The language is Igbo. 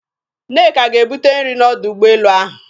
Nneka ga-ebute nrị n'ọdọ ụgbọelu ahụ.